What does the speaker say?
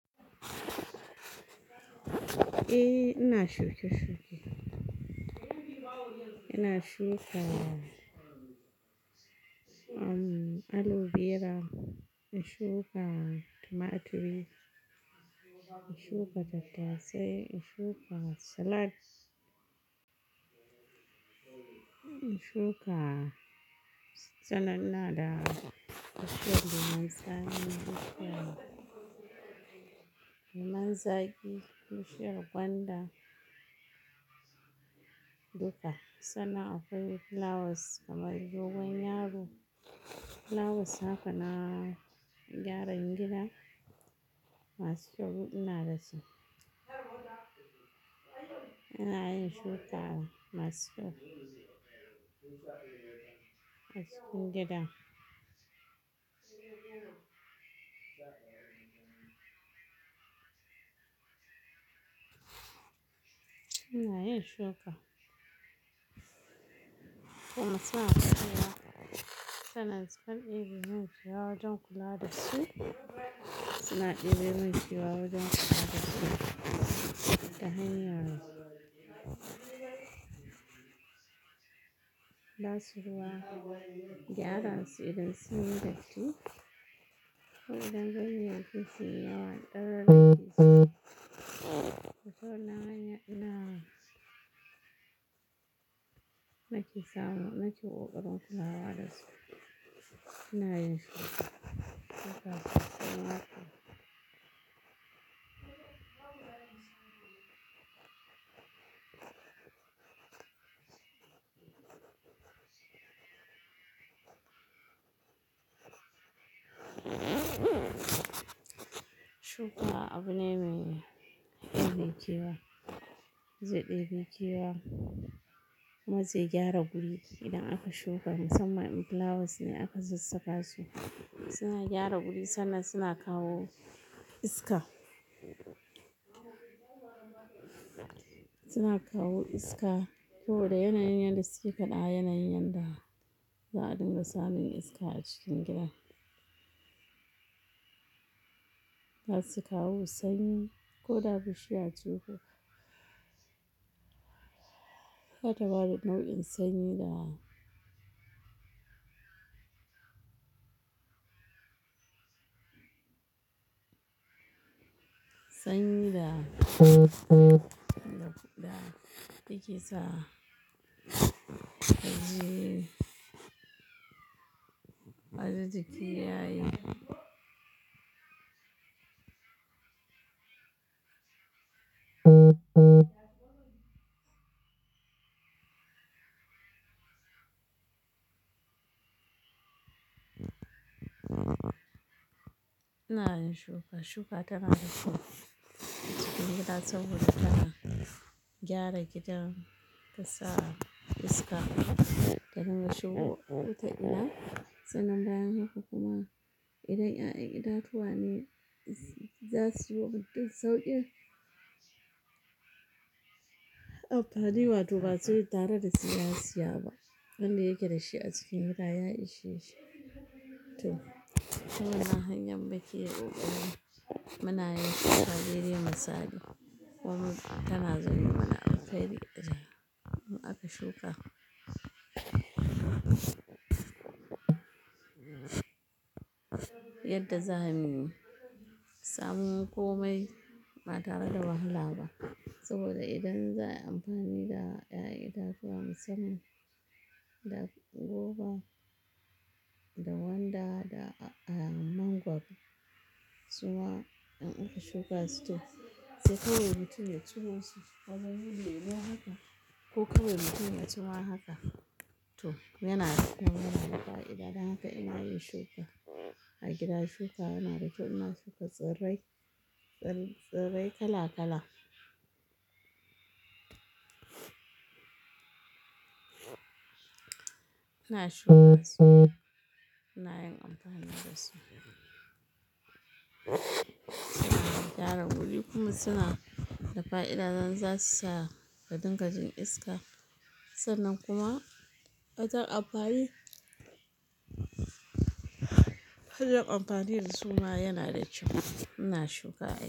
Eh ina shuke-shuke. Ina shuka aloe vera, in shuka tomato, in shuka tattasai, in shuka salad. In shuka sananna da bushiyar man zagi, bushiyar lemun zaƙi, bushiyar gwanda duka. Sannan akwai flowers kamar dogon yaro. Flowers haka na gyaran gida masu kyau ina da su. Ina yin shuka masu kyau a cikin gida. Ina yin shuka. Kuma suna da kyau. Sannan sukan yi wanke wa wajen kula da su. Suna ɗebemun kewawa wajen kula da su ta hanyar ba suruwa gyaran su idan sun dace. To idan ban yi ankunci na ɗoroni to tana hanyar ina. Na ke samu, na ke ƙoƙarin kulawa da su. Ina yin shuka. Shuka sosai ma kuwa Shuka abu ne mai ɗebe kewa, zai ɗebe ke wa, maza gyara wuri. Idan aka shuka musamman flowers ne aka zubsaka su suna gyara wuri sannan suna kawo iska. Suna kawo iska ko da yanayin da suke da yana yin yadda za a dinga samun iska a cikin gida. Na su kawo sanyi ko da bushiya ce kuka. Haka tare nau'in sanyi da. Sanyi da da yake sa ajiye, ajiye jiki yayi. Ina yin shuka. Shuka tana da kyau a cikin gida saboda tana gyara gidan, ta sa iska ta dinga shuka kota ina. Sannan bayan haka kuma idan 'ya'yan itatuwa ne za su yi buɗe sau ɗaya. Amfani wato ba su yi tare da siyasiya ba. Wanda yake da shi a cikin gida ya ishe shi. To, shi wannan hanyar muke ya ƙoƙari. Muna yi kaɗere da misali. Wani tana zama a kai. Idan aka shuka. Yadda za a yi samun komai ba tare da wahala ba. Saboda idan za a yi amfani da 'ya'yan itatuwa musamman da goba, da gwanda, da mangwaro zuwa in aka shuka su to sai kawai mutum ya ciwo su. Wajen yili ne haka ko kawai mutum ya ciro haka. To yana da kam yana da fa'ida don haka ina yin shuka a gida. Shuka ina da kyau ina shuka tsirrai, tsirrai kala kala. Ina shuka su, ina yin amfani da su. Ina gyara wuri kuma suna da fa'ida don zasu sa ka dinga jin iska. Sannan kuma wata amfani, kullum amfani da su ma yana da kyau. Ina shuka ayaye.